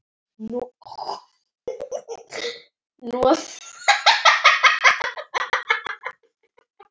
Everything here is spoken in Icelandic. Hnoðar kúlur.